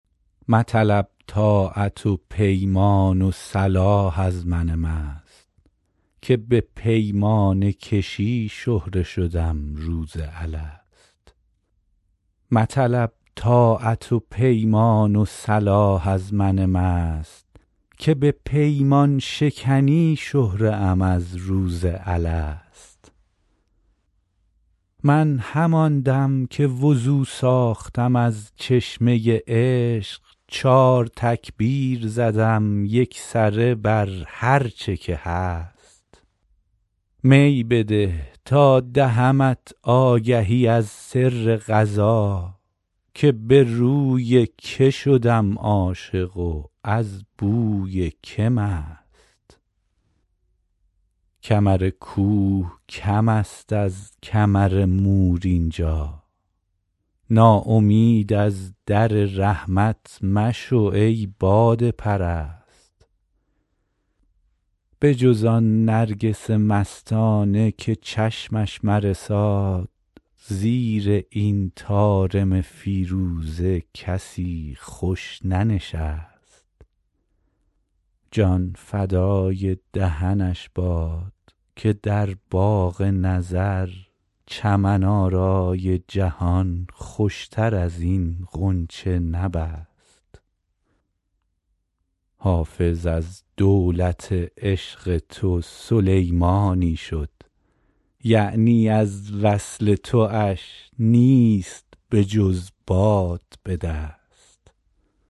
مطلب طاعت و پیمان و صلاح از من مست که به پیمانه کشی شهره شدم روز الست من همان دم که وضو ساختم از چشمه عشق چار تکبیر زدم یکسره بر هرچه که هست می بده تا دهمت آگهی از سر قضا که به روی که شدم عاشق و از بوی که مست کمر کوه کم است از کمر مور اینجا ناامید از در رحمت مشو ای باده پرست بجز آن نرگس مستانه که چشمش مرساد زیر این طارم فیروزه کسی خوش ننشست جان فدای دهنش باد که در باغ نظر چمن آرای جهان خوشتر از این غنچه نبست حافظ از دولت عشق تو سلیمانی شد یعنی از وصل تواش نیست بجز باد به دست